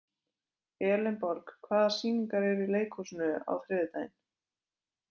Elenborg, hvaða sýningar eru í leikhúsinu á þriðjudaginn?